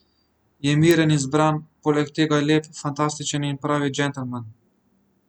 Je miren in zbran, poleg tega je lep, fantastičen in pravi džentelmen.